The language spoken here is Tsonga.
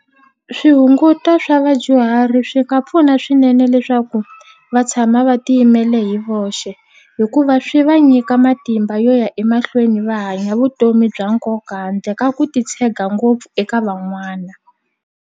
Swihunguto swa vadyuhari swi nga pfuna swinene leswaku va tshama va tiyimele hi voxe hikuva swi va nyika matimba yo ya emahlweni va hanya vutomi bya nkoka handle ka ku titshega ngopfu eka van'wana.